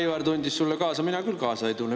Aivar tundis sulle kaasa, mina küll kaasa ei tunne.